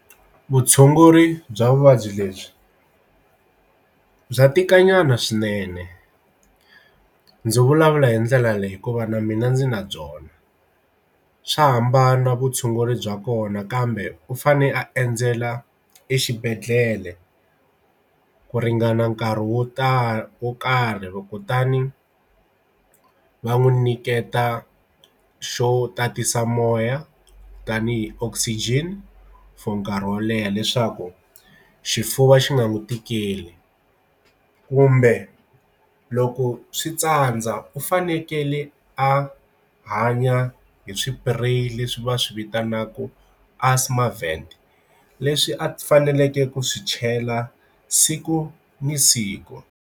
Vutshunguri bya vuvabyi lebyi bya tika nyana swinene ndzi vulavula hi ndlela leyi hikuva na mina ndzi na byona swa hambana vutshunguri bya kona kambe u fane a endzela exibedhlele ku ringana nkarhi wo tala wo karhi kutani va n'wi nyiketa xo tatisa moya tanihi oxygen for nkarhi wo leha leswaku xifuva xi nga n'wi tikeli kumbe loko switsandza u fanekele a hanya hi swipureyi leswi va swi vitanaka Asthma Vet leswi a faneleke ku swi chela siku na siku.